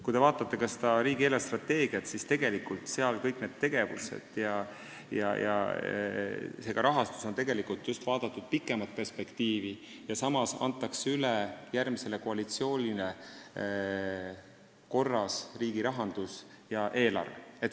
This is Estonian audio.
Kui te vaatate riigi eelarvestrateegiat, siis näete, et tegelikult on seal kõiki tegevusi ja rahastust vaadatud pikemas perspektiivis ning samas antakse järgmisele koalitsioonile üle korras riigirahandus ja -eelarve.